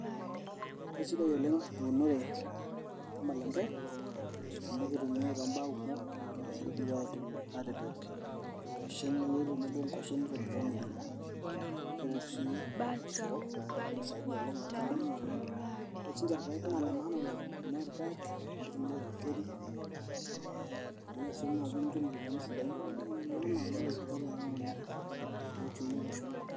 kesidai oleng eunore ormalenge amu kitumiai toombaa kumok kidimi atipik inkuashen neyieri tenebo onkuashen nitobiri mokimo kepiki sii oloshoro naa kisaidia oleng oltung'ani ore siininche irpaek naa ile maana oleng amu ore irpayek ninche etumieki orkeseri ee imirr sii naaji nitum iropiani sidain neeku ine maana kuna tokitin pokirare oleng te uchumi olosho.